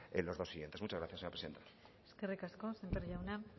en los dos siguientes muchas gracias señora presidenta eskerrik asko sémper jauna